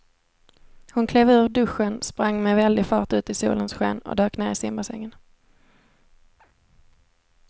Hon klev ur duschen, sprang med väldig fart ut i solens sken och dök ner i simbassängen.